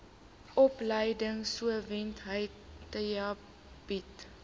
opleidingsowerheid theta bied